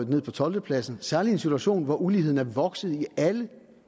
ned på tolvte pladsen særligt i en situation hvor uligheden er vokset i alle